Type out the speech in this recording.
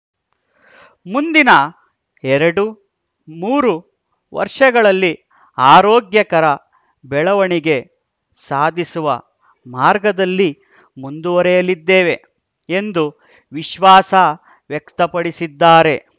ಮುಂದಿನ ಎರಡು ಮೂರು ವರ್ಷಗಳಲ್ಲಿ ಆರೋಗ್ಯಕರ ಬೆಳವಣಿಗೆ ಸಾಧಿಸುವ ಮಾರ್ಗದಲ್ಲಿ ಮುಂದುವರೆಯಲಿದ್ದೇವೆ ಎಂದು ವಿಶ್ವಾಸ ವ್ಯಕ್ತಪಡಿಸಿದ್ದಾರೆ